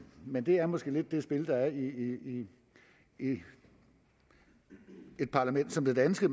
men det er måske lidt det spil der er i et parlament som det danske